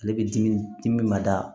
Ale bɛ dimi dimi ma da